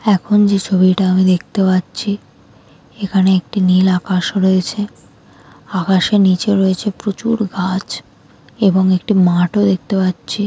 এখন যে ছবিটা আমি দেখতে পাচ্ছি। এখানে একটি নীল আকাশ রয়েছে। আকাশে নিচে রয়েছে প্রচুর গাছ এবং একটি মাঠও দেখতে পাচ্ছি।